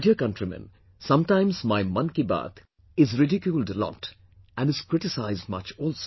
My dear countrymen, sometimes my 'Mann Ki Baat' is ridiculed a lot and is criticized much also